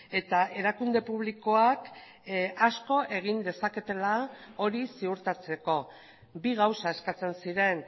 eta erakunde publikoak asko egin dezaketela hori ziurtatzeko bi gauza eskatzen ziren